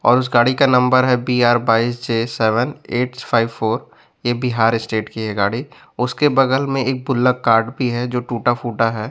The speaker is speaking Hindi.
और उस गाड़ी का नंबर है बी_आर बाइस J seven eight five four ये बिहार स्टेट की है गाड़ी उसके बगल में एक बुल्लक कार्ड भी है जो टूटा फूटा है।